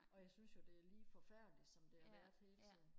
og jeg synes jo det er lige forfærdeligt som det har været hele tiden